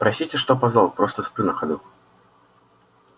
простите что опоздал просто сплю на ходу